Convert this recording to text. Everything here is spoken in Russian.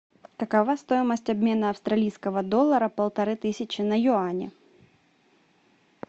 какова стоимость обмена австралийского доллара полторы тысячи на юани